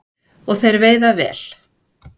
Og þeir veiða vel